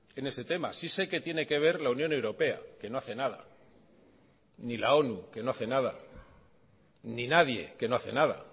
en ese tema sí sé que tiene que ver la unión europea que no hace nada ni la onu que no hace nada ni nadie que no hace nada